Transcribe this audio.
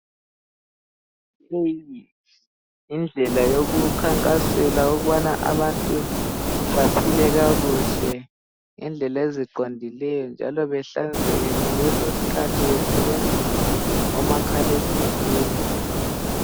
Indlela yokukhankasela ukubana abantu baphile kakuhle ngendlela eziqondileyo njalo bahlanzeke ngalezozikhathi besebenzisa omakhalekhukhwini.